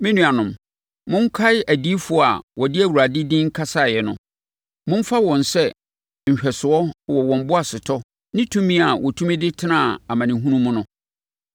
Me nuanom, monkae adiyifoɔ a wɔde Awurade din kasaeɛ no. Momfa wɔn sɛ nhwɛsoɔ wɔ wɔn boasetɔ ne tumi a wɔtumi de tenaa amanehunu mu no.